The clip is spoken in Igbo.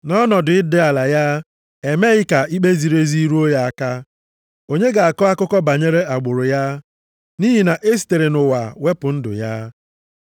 Nʼọnọdụ ịdị ala ya, e meghị ka ikpe ziri ezi ruo ya aka. Onye ga-akọ akụkọ banyere agbụrụ ya? Nʼihi na e sitere nʼụwa wepụ ndụ ya.” + 8:33 \+xt Aịz 53:7,8\+xt*